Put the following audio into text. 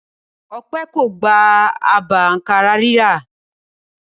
Ọpẹ́ kò gba àbá àǹkárá rírà.